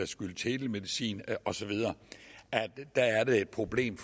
skyld telemedicin osv er det et problem